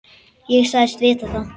Ég sagðist vita það.